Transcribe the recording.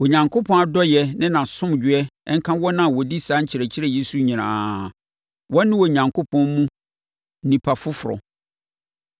Onyankopɔn adɔeɛ ne nʼasomdwoeɛ nka wɔn a wɔdi saa nkyerɛkyerɛ yi so nyinaa; wɔn ne Onyankopɔn mu nnipa foforɔ.